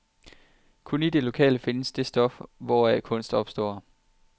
Kun i det lokale findes det stof, hvoraf kunst opstår.